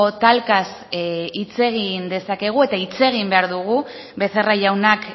talkaz hitz egin dezakegu eta hitz egin behar dugu becerra jaunak